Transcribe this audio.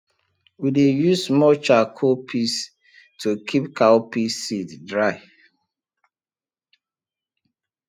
we dey use small charcoal piece to keep cowpea seed dry